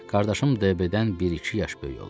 Qardaşım Dəybe-dən bir-iki yaş böyük olar.